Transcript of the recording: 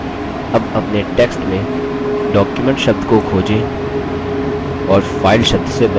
अब अपने text में document शब्द को खोजें और file शब्द से बदलें